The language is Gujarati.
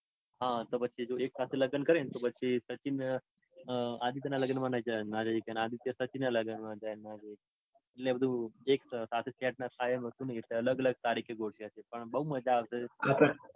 હતો પછી એક હારે લગન